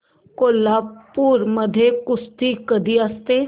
कोल्हापूर मध्ये कुस्ती कधी असते